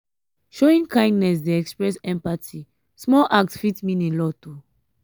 showing kindness dey express empathy; small act fit mean a lot.